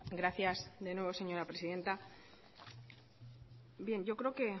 gracias de nuevo señora presidenta bien yo creo que